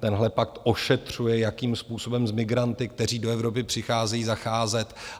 Tenhle pakt ošetřuje, jakým způsobem s migranty, kteří do Evropy přicházejí, zacházet.